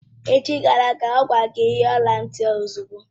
Echi gara aga, ọ gwara gị yiri ọla ntị ahụ ozugbo!